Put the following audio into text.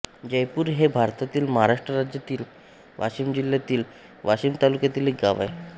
जयपूर हे भारतातील महाराष्ट्र राज्यातील वाशिम जिल्ह्यातील वाशीम तालुक्यातील एक गाव आहे